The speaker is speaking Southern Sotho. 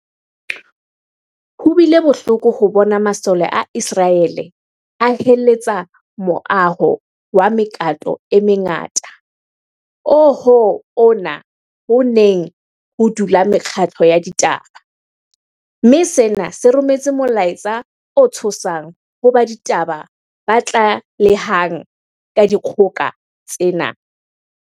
Ho bile bohloko ho bona masole a Iseraele a heletsa moaho wa mekato e mengata oo ho ona ho neng ho dula mekgatlo ya ditaba, mme sena se rometse molaetsa o tshosang ho ba ditaba ba tlalehang ka dikgoka tsena.